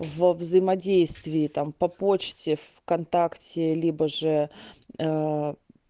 во взаимодействии там по почте в контакте либо же